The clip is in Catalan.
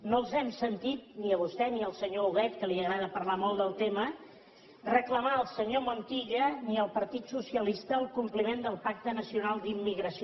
no els hem sentit ni a vostè ni al senyor huguet que li agrada parlar molt del tema reclamar al senyor montilla ni al partit socialista el compliment del pacte nacional per a la immigració